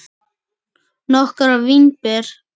Nokkrar vínber